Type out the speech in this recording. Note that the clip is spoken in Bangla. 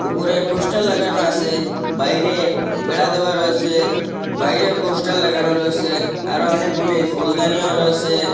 উপরে পুস্টার লাগানো আসে বাইরে বেড়া দেওয়া রয়েসে বাইরেও পোস্টার লাগানো রয়েসে আরও অনেকগুলি ফুলদানীও রয়েসে।